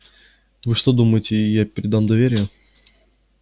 вы что думаете я предам доверие